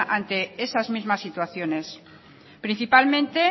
ante esas mismas situaciones principalmente